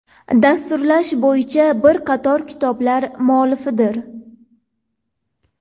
Dasturlash bo‘yicha bir qator kitoblar muallifidir.